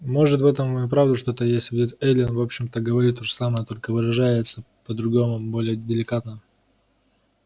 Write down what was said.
может в этом и вправду что-то есть ведь эллин в общем-то говорит то же самое только выражается по-другому более деликатно